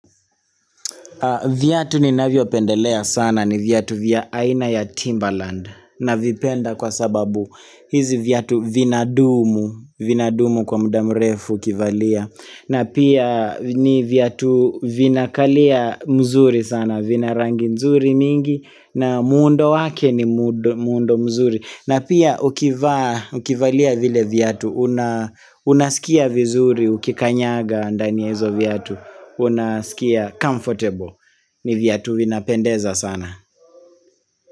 Viatu ninavyopendelea sana ni viatu vya aina ya Timbaland navipenda kwa sababu hizi viatu vinadumu, vinadumu kwa muda mrefu ukivalia na pia ni viatu vinakalia mzuri sana, vina rangi nzuri mingi na muundo wake ni muundo mzuri na pia ukivaa ukivalia vile viatu, unaskia vizuri, ukikanyaga ndani ya hizo viatu, unaskia comfortable. Ni viatu vinapendeza sana.